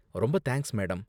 ரொம்ப thanks, madam.